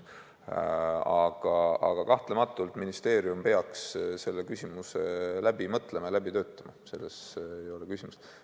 Aga kahtlematult ministeerium peaks selle läbi mõtlema, selles ei ole küsimust.